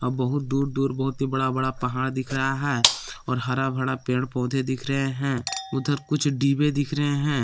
बहुत दूर दूर बहुत ही बड़ा बड़ा पहाड़ दिख रहा है और हरा भरा पेड़ पौधे दिख रहे हैं उधर कुछ डीबे दिख रहे हैं।